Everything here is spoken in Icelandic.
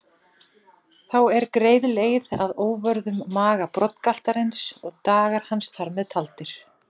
Þá er greið leið að óvörðum maga broddgaltarins og dagar hans þar með taldir.